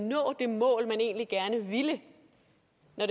nå det mål man egentlig gerne ville